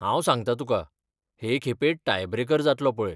हांव सांगतां तुका, हे खेपे टाय ब्रेकर जातलो पळय.